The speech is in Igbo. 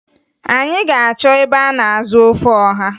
Anyị ga-achọ ebe a na-azụ ofe ọha